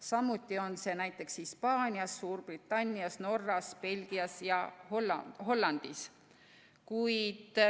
Samuti on see nii näiteks Hispaanias, Suurbritannias, Norras, Belgias ja Hollandis.